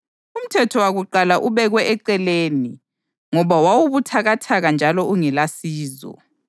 Umthetho wakuqala ubekwe eceleni ngoba wawubuthakathaka njalo ungelasizo